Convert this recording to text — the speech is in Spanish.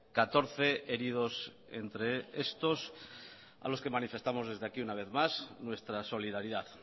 catorce heridos entre estos a los que manifestamos desde aquí una vez más nuestra solidaridad